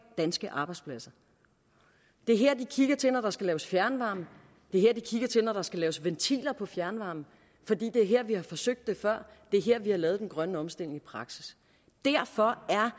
danske arbejdspladser det er her de kigger til når der skal laves fjernvarme det er her de kigger til når der skal laves ventiler på fjernvarme fordi det er her vi har forsøgt det før det er her vi har lavet den grønne omstilling i praksis derfor er